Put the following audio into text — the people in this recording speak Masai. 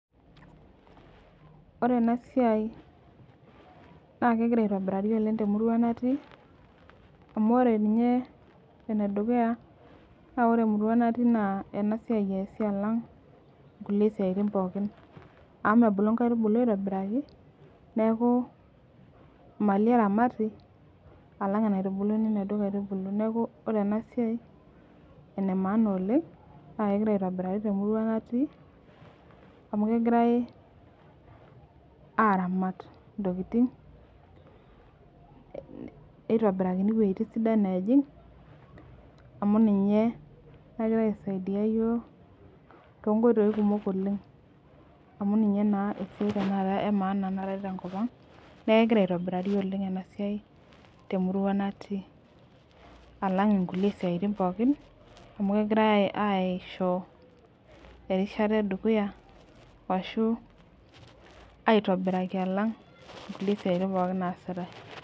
Ore enasia na kegira aitobirari oleng temurua natii amu ore nye enedukuya na ore enedukuya na enasia easi alang nkukie siatini pooki amu mebulu nkaitubulu aitobiraki neaku eramati alang enaitubuluni naduo aitubulu neaku ore enasiai na enemaana oleng na kegira aitobirari temurua natii amu kegirai aramat ntokitin nitobirakini wuejitin sidan natii amu ninye nagira aisaidia yiok tonkoitoi kumok oleng amu ninye esuai emaana naatae tenkop aang neaku kegira aendelea temurua natii alang nkulie siaitin pookin amu kegiraia aisho erishata edukuya ashu aitobiraki alang nkulie siaitin naasita.